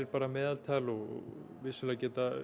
bara meðaltal vissulega